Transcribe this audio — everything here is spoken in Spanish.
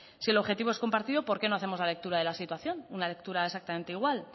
si el objetivo es compartido por qué no hacemos la lectura de la situación una lectura exactamente igual